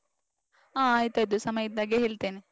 ಆ ಆಯ್ತ್ ಆಯ್ತು ಸಮಯ ಇದ್ದಾಗ ಹೇಳ್ತೆನೆ.